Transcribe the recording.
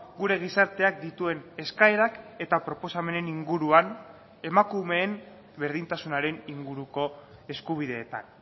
gure gizarteak dituen eskaerak eta proposamenen inguruan emakumeen berdintasunaren inguruko eskubideetan